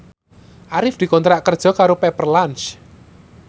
Arif dikontrak kerja karo Pepper Lunch